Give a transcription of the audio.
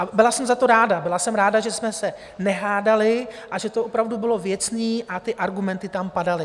A byla jsem za to ráda, byla jsem ráda, že jsme se nehádali a že to opravdu bylo věcné a ty argumenty tam padaly.